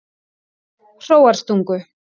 Hróarstungu